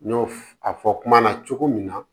N y'o f a fɔ kuma na cogo min na